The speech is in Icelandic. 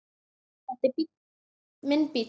Þetta er minn bíll.